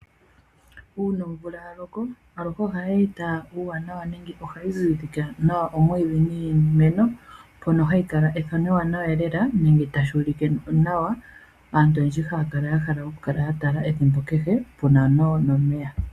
Uuna omvula yaloko ohayi zizike nawa omwiidhi niimeno noha shulike ethano ewanawa, naantu oyendji ohaakala yahala okutala po ethimbo kehe po ohapukala omeya .